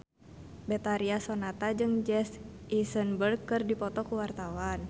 Betharia Sonata jeung Jesse Eisenberg keur dipoto ku wartawan